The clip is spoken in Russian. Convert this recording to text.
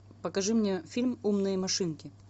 покажи мне фильм умные машинки